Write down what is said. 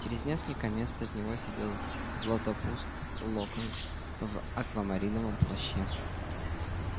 через несколько мест от него сидел златопуст локонс в аквамариновом плаще